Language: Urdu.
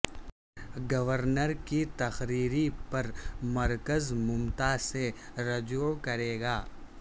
گورنر کی تقرری پر مرکز ممتا سے رجوع کرے گا